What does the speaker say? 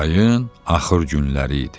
Yayın axır günləri idi.